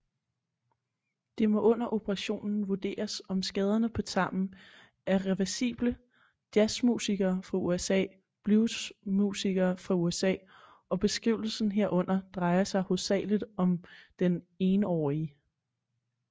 Det må under operationen vurderes om skaderne på tarmen er reversibleJazzmusikere fra usa bluesmusikere fra usaOg beskrivelsen herunder drejer sig hovedsagelig om den enårige